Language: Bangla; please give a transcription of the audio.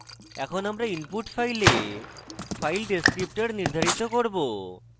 এখন আমরা input file file descriptor নির্ধারিত করব